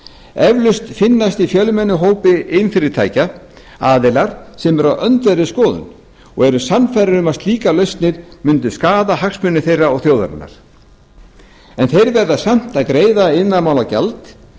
eflaust finnast í fjölmennum hópi iðnfyrirtækja aðilar sem eru á öndverðri skoðun og eru sannfærðir um að slíkar lausnir myndu skaða hagsmuni þeirra og þjóðarinnar en þeir verða samt að greiða iðnaðarmálagjald